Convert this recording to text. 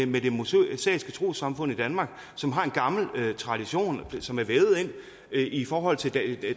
med det mosaiske trossamfund i danmark som har en gammel tradition som er vævet ind i forhold til